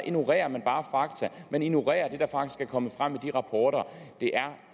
ignorerer man bare fakta man ignorerer det der faktisk er kommet frem i de rapporter det er